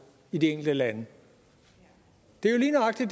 i de enkelte lande det er lige nøjagtig